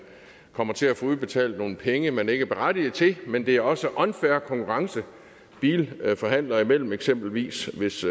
kommer til at få udbetalt nogle penge man ikke er berettiget til men det er også unfair konkurrence bilforhandlere imellem eksempelvis hvis